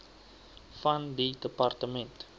van die departement